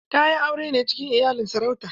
Ta yi aure ne cikin iyalin sarauta.